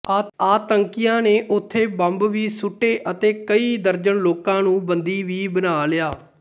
ਆਤੰਕੀਆਂ ਨੇ ਉੱਥੇ ਬੰਬ ਵੀ ਸੁੱਟੋ ਅਤੇ ਕਈ ਦਰਜਨ ਲੋਕਾਂ ਨੂੰ ਬੰਦੀ ਵੀ ਬਣਾ ਲਿਆ